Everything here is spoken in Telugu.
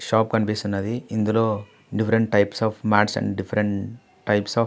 షాప్ కనిపిస్తున్నది. ఇందులో different types of mats and different types of --